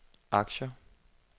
aktier